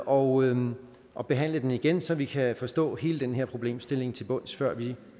og og behandle den igen så vi kan forstå hele den her problemstilling til bunds før vi